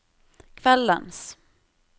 kveldens